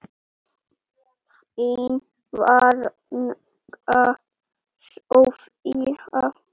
Þín frænka, Soffía.